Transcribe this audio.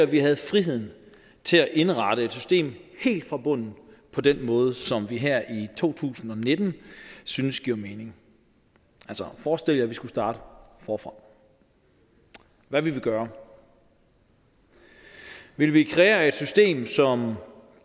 vi havde friheden til at indrette et system helt fra bunden på den måde som vi her i to tusind og nitten synes giver mening altså forestil jer vi skulle starte forfra hvad ville vi gøre ville vi kreere et system som